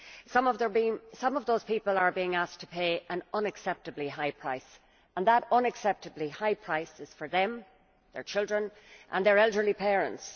Some of those people are being asked to pay an unacceptably high price and that unacceptably high price is for them, their children and their elderly parents.